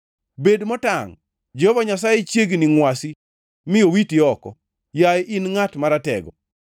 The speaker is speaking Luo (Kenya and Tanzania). Bed motangʼ, Jehova Nyasaye chiegni ngʼwasi mi owiti oko, yaye in ngʼat maratego.